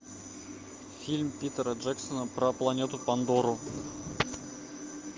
фильм питера джексона про планету пандору